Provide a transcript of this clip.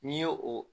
N'i ye o